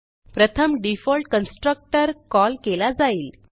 प्रथम default constructor call केला जाईल